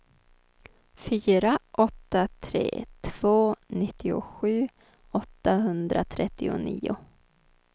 fyra åtta tre två nittiosju åttahundratrettionio